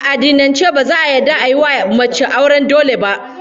A addinance ba za'a yarda ayi wa mace auren dole ba